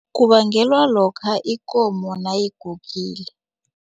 Kubangelwa lokha ikomo nayigugile.